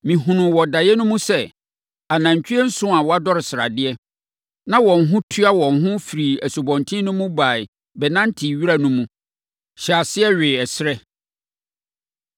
Mehunuu wɔ daeɛ no mu sɛ, anantwie nson a wɔadodɔre sradeɛ, na wɔn ho tua wɔn firii asubɔnten no mu baeɛ bɛnantee wira no mu, hyɛɛ aseɛ wee serɛ.